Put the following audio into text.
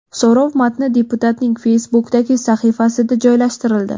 So‘rov matni deputatning Facebook’dagi sahifasida joylashtirildi .